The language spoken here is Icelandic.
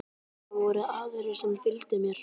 Það voru aðrir sem fylgdu mér.